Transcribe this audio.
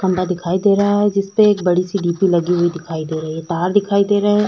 खंबा दिखाई दे रहा है जिस पे एक बड़ी सी बीपी लगी हुई दिखाई दे रही है। तार दिखाई दे रहा है।